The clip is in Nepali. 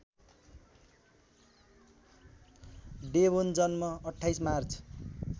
डेभोन जन्म २८ मार्च